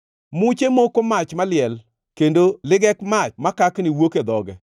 Muche moko mach maliel, kendo legek mach makakni wuok e dhoge.